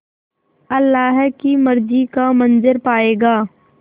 अल्लाह की मर्ज़ी का मंज़र पायेगा